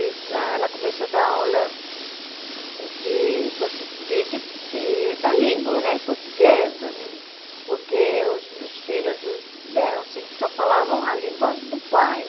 E ela começou a dar aula de portu de de de da língua né portuguesa, hum porque os os filhos dos eram assim só falavam a língua do pai.